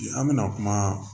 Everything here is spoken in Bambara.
An bɛna kuma